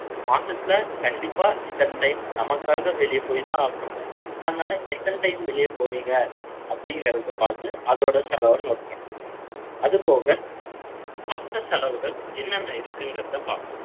மாசத்துல, கண்டிப்பா, இத்தனை time, நமக்காக, வெளிய போய்தான் ஆகணும். அதனால, எத்தனை time, வெளிய போவீங்க? அப்படிங்கிறதை பார்த்து, அதோட செலவை, note பண்ணணும். அது போக, மத்த செலவுகள், என்னென்ன இருக்குங்கிறதை, பார்ப்போம்